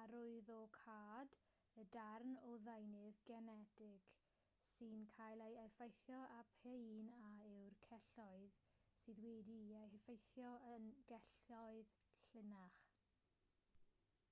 arwyddocâd y darn o ddeunydd genetig sy'n cael ei effeithio a p'un a yw'r celloedd sydd wedi'u heffeithio yn gelloedd llinach